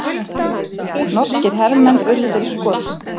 Norskir hermenn urðu fyrir skotum